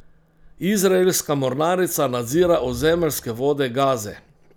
Izraelska mornarica nadzira ozemeljske vode Gaze.